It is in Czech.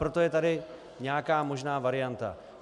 Proto je tady nějaká možná varianta.